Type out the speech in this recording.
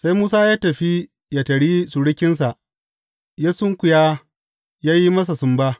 Sai Musa ya tafi yă taryi surukinsa, ya sunkuya ya yi masa sumba.